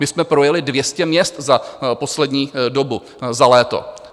My jsme projeli 200 měst za poslední dobu, za léto.